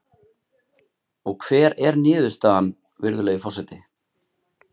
Og hver er niðurstaðan, virðulegi forseti?